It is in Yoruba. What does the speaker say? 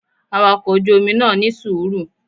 Awakọ̀ ojú Omi náà ní sùúrù